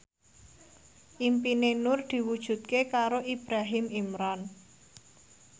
impine Nur diwujudke karo Ibrahim Imran